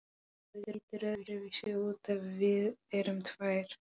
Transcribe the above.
Það lítur öðruvísi út ef við erum tvær.